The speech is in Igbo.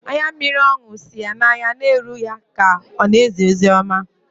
Anya mmiri ọṅụ si n’anya na-eru ya ka ọ na-ezi ozi ọma